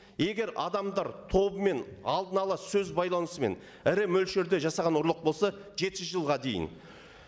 егер адамдар тобымен алдын ала сөз байланысымен ірі мөлшерде жасаған ұрлық болса жеті жылға дейін